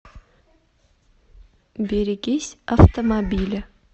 берегись автомобиля